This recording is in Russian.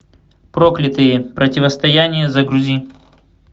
проклятые противостояние загрузи